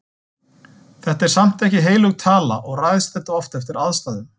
Þetta er samt ekki heilög tala og ræðst þetta oft eftir aðstæðum.